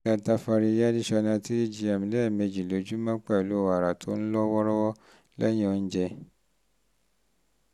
three gm lẹ́ẹ̀mejì lójúmọ́ pẹ̀lú wàrà tó ń lọ́ wọ́ọ́rọ́wọ́ lẹ́yìn oúnjẹ